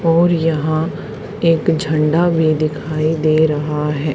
और यहां एक झंडा भी दिखाई दे रहा है।